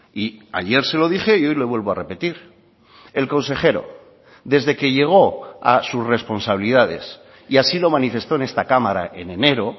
y ayer se lo dije y hoy lo vuelvo a repetir el consejero desde que llegó a sus responsabilidades y así lo manifestó en esta cámara en enero